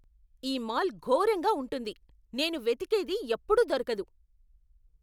ఈ మాల్ ఘోరంగా ఉంటుంది. నేను వెతికేది ఎప్పుడూ దొరకదు.